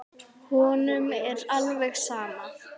Honum er alveg sama.